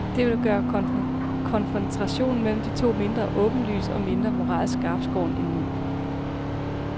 Det vil gøre konfrontationen mellem de to mindre åbenlys og mindre moralsk skarpskåren end nu.